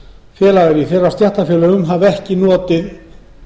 félagar í þeirra stéttarfélögum hafa ekki notið